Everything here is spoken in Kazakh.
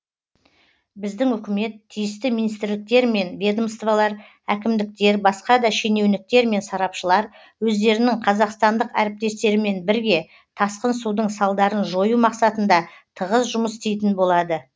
біздің үкімет тиісті министрліктер мен ведомствалар әкімдіктер басқа да шенеуніктер мен сарапшылар өздерінің қазақстандық әріптестерімен бірге тасқын судың салдарын жою мақсатында тығыз жұмыс істейтін болады